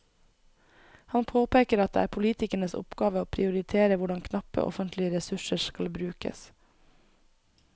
Han påpeker at det er politikernes oppgave å prioritere hvordan knappe offentlige ressurser skal brukes.